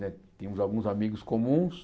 Né tínhamos alguns amigos comuns.